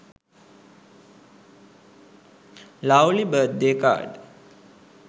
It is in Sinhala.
lovely birthday card